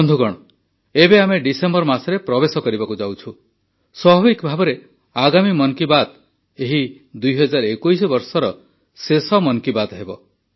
ବନ୍ଧୁଗଣ ଏବେ ଆମେ ଡିସେମ୍ବର ମାସରେ ପ୍ରବେଶ କରିବାକୁ ଯାଉଛୁ ସ୍ୱାଭାବିକ ଭାବେ ଆଗାମୀ ମନ୍ କୀ ବାତ୍ ଏହି ୨୦୨୧ ବର୍ଷର ଶେଷ ମନ୍ କୀ ବାତ୍ ହେବ